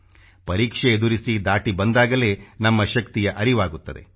ಪರೀಕ್ಷೆ ಎದುರಿಸಿ ದಾಟಿ ಬಂದಾಗಲೇ ನಮ್ಮ ಶಕ್ತಿಯ ಅರಿವಾಗುತ್ತದೆ